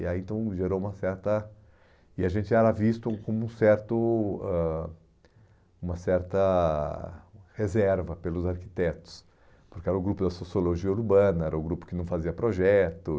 E aí, então, gerou uma certa... E a gente era visto como um certo ãh uma certa reserva pelos arquitetos, porque era o grupo da sociologia urbana, era o grupo que não fazia projeto.